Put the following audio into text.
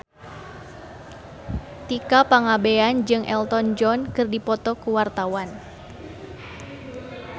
Tika Pangabean jeung Elton John keur dipoto ku wartawan